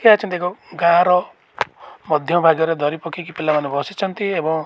ହିଆଚନ୍ଦି ଗୋ ଗାଁର ମଧ୍ୟ ଭାଗରେ ଦରି ପକେଇକି ପିଲାମାନେ ବସିଚନ୍ତି ଏବଂ --